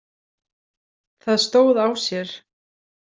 Það stóð á sér.